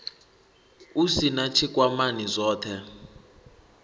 u sin a tshikwamani zwothe